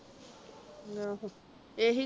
ਆਹੋ ਕੇਹੀ